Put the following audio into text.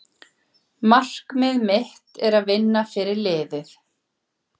Markmið mitt er að vinna fyrir liðið.